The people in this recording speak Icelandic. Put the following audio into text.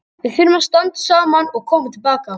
Við þurfum að standa saman og koma til baka.